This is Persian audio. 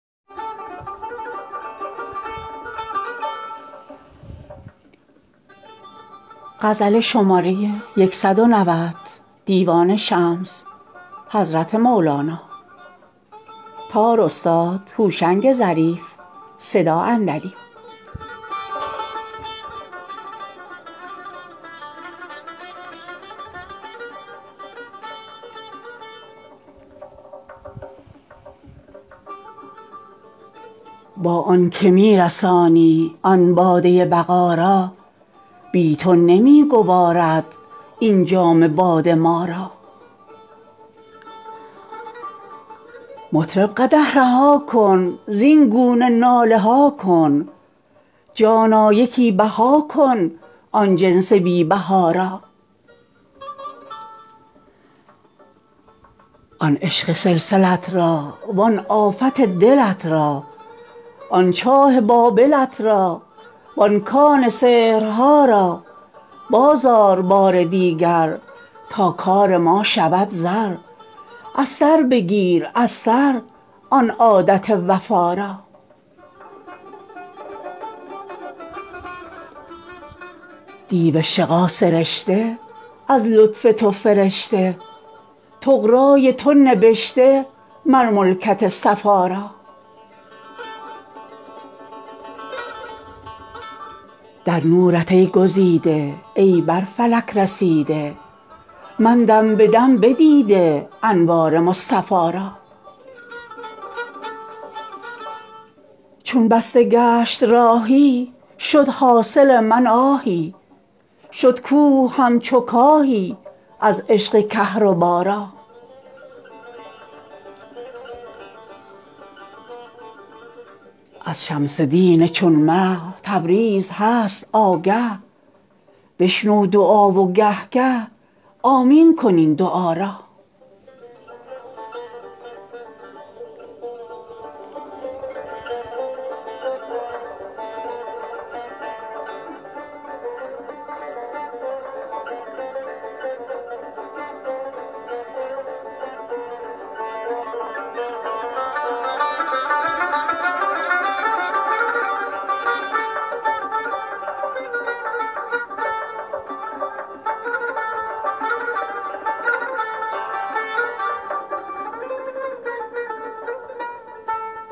با آن که می رسانی آن باده بقا را بی تو نمی گوارد این جام باده ما را مطرب قدح رها کن زین گونه ناله ها کن جانا یکی بها کن آن جنس بی بها را آن عشق سلسلت را وان آفت دلت را آن چاه بابلت را وان کان سحرها را باز آر بار دیگر تا کار ما شود زر از سر بگیر از سر آن عادت وفا را دیو شقا سرشته از لطف تو فرشته طغرای تو نبشته مر ملکت صفا را در نورت ای گزیده ای بر فلک رسیده من دم به دم بدیده انوار مصطفا را چون بسته گشت راهی شد حاصل من آهی شد کوه همچو کاهی از عشق کهربا را از شمس دین چون مه تبریز هست آگه بشنو دعا و گه گه آمین کن این دعا را